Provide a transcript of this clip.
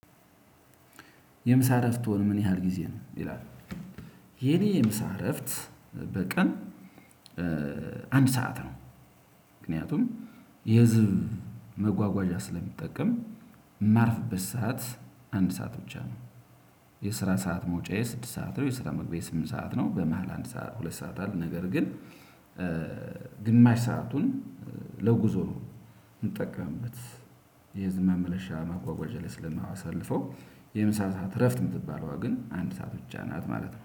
የምሳ እረፍትዎ ምን ያህል ጊዜ ነው ይላል? የኔ የምሳ እረፍት በቀን። አንድ ሰዓት ነው። ምክንያቱም የህዝብ መጓጓዣ ስለምጠቀም ማርፍበት ሰዓት አንድ ሰዓት ብቻ ነው። የስራ ሰዓት መውጫዬ ስድስት ሰዓት ነው የስራ መግቢያዬ ስምንት ሰዓት ነው። በመሃል አንድ ሁለት ሰዓት አለ። ነገር ግን ግማሽ ሰአቱን ለጉዞ ነው የምጠቀምበት። የህዝብ መመለሻ መጓጓዣ ላይ ስለማሳልፈው የምሳ ሰዓት እረፍት የምትባለዋ ግን አንድ ሰዓት ብቻ ናት ማለት ነው